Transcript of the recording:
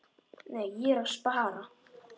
Nei, ég er að spara.